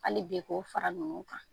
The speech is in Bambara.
Hali bi k'o fara nunu kan,